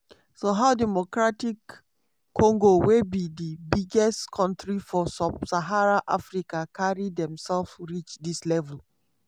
so how dr congo wey be di biggest kontri for sub-saharan africa carry demselves reach dis level?